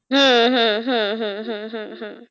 হম হম হম হম হম হম হম